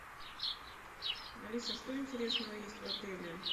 алиса что интересного есть в отеле